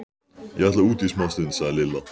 Ég ætla út í smástund, sagði Lilla.